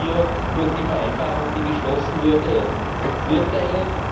Sehen Sie hier durch die Vereinbarung, die geschlossen wurde, Vorteile?